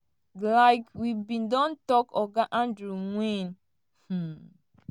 like we bin don tok oga andrew wynne um